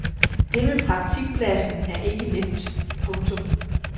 Det med praktikpladsen er ikke nemt. punktum